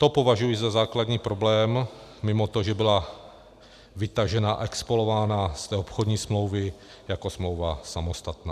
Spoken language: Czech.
To považuji za základní problém mimo to, že byla vytažena a expolována z té obchodní smlouvy jako smlouva samostatná.